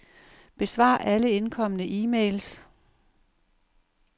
Besvar alle indkomne e-mails.